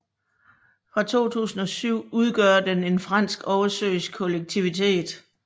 Fra 2007 udgør den en fransk oversøisk kollektivitet